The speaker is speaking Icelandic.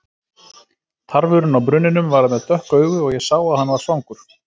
Tarfurinn á brunninum var með dökk augu og ég sá að hann var svangur.